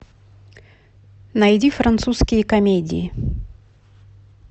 найди французские комедии